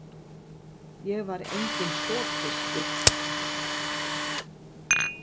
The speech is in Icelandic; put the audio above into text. Ég var enginn sogfiskur.